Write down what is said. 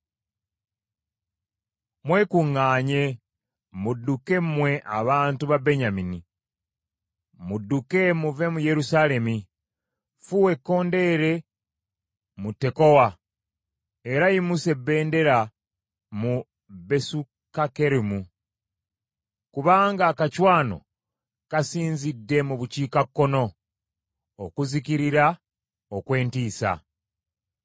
Mwekuŋŋaanye mudduke mmwe abantu ba Benyamini! Mmudduke muve mu Yerusaalemi. Fuuwa ekkondeere mu Tekowa, era yimusa ebbendera mu Besukakkeremu: kubanga akacwano kasinzidde mu bukiikakkono, okuzikirira okw’entiisa.